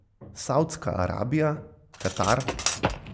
Saudska Arabija, Katar ...